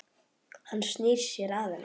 Hann snýr sér að henni.